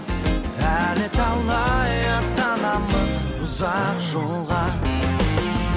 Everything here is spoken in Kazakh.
әлі талай аттанамыз ұзақ жолға